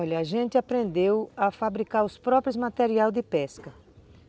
Olha, a gente aprendeu a fabricar os próprios materiais de pesca.